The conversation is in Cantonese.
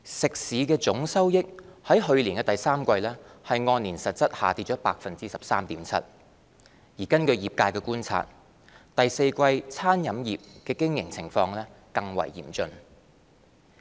食肆總收益在去年第三季按年實質下跌 13.7%， 根據業界觀察，第四季餐飲業的經營情況更為嚴峻。